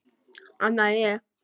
Annað en ég.